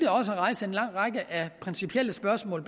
også rejse en lang række af principielle spørgsmål